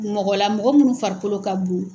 Mɔgɔla mɔgɔ munnu farikolo ka bon.